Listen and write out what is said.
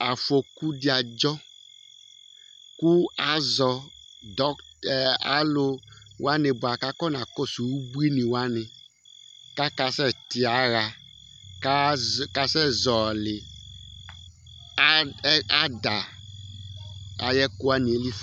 afoku ɖi adʒɔ ku aʒɔ alu wani baku afɔ na kɔsu ubuini wani ka kasɛ to yaha ka kasɛ ʒɔli ada ayɛ ku wani